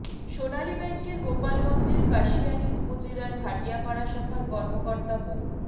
সোনালী ব্যাংকের গোপালগঞ্জের কাশিয়ানি উপজেলার ভাটিয়াপাড়া শাখার কর্মকর্তা মো